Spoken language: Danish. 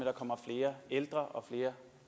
år kommer flere ældre og flere